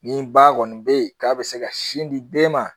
Nin ba kɔni be yen k'a be se ka sin di den ma